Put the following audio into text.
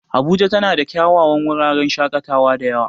Abuja tana da kyawawan wuraren shaƙatawa da yawa.